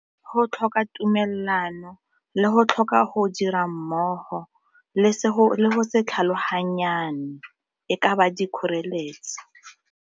Go tlhoka tumelelano le go tlhoka go dira mmogo, le go se tlhaloganyana e ka ba di kgoreletsi.